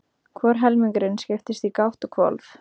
Hvor helmingurinn skiptist í gátt og hvolf.